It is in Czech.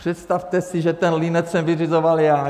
Představte si, že ten Linec jsem vyřizoval já.